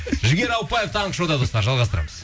жігер ауыпбаев таңғы шоуда достар жалғастырамыз